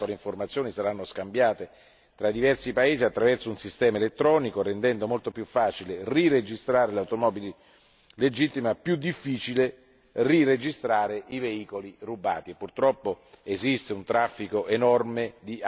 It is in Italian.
I compiti delle autorità di registrazione saranno agevolati in quanto le informazioni saranno scambiate fra i diversi paesi attraverso un sistema elettronico, rendendo molto più facile riregistrare le automobili regolari, più difficile riregistrare i veicoli rubati.